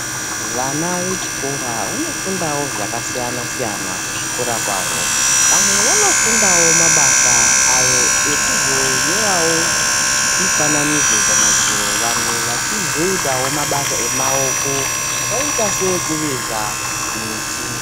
Vana vechikora vanofundavo zvakasiyana-siyana kuzvikora kwavo. Vamwe vanofundavo mabasa ayo ekuzonyoravo mifananidzo pamadziro. vamwe vachizoitavo mabasa emaoko akaita seekuveza miti.